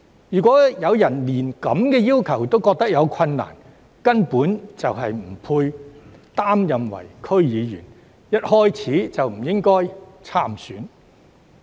如果有人對這些要求感到有困難，根本不配擔任區議員，一開始便不應該參選。